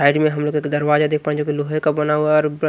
side में हमलोग एक दरवाजा देख पा जो की लोहे का बना हुआ है और ब--